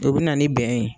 O bɛ na ni bɛn ye